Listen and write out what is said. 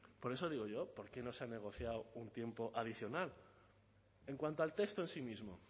por eso digo yo por qué no se ha negociado un tiempo adicional en cuanto al texto en sí mismo